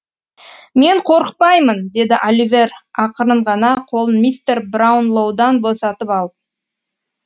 мен қорықпаймын деді аливер ақырын ғана қолын мистер браунлоудан босатып алып